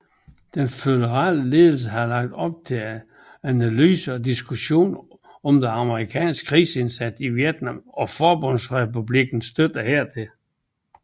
Den føderale ledelse havde lagt op til analyse og diskussion af den amerikanske krigsindsats i Vietnam og Forbundsrepublikkens støtte hertil